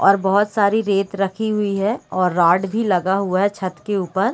और बहुत सारी रेत रखी हुई हैं और रॉड भी लगा हुआ है छत के ऊपर।